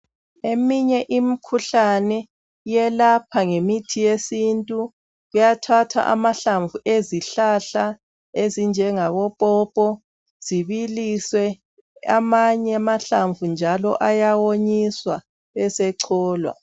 Eminye imkhuhlane yelapha ngemithi yesintu uyathatha ahlamvu ezihlahla ezinjengabo popo zibilise amanye amahlamvu njalo ayawonyiswa besecholwa.